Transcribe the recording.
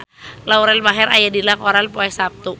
Lauren Maher aya dina koran poe Saptu